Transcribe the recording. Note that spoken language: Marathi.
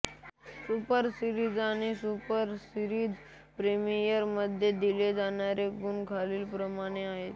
सुपर सिरीज आणि सुपर सिरिज प्रीमियर मध्ये दिले जाणारे गुण खालीलप्रमाणे आहेत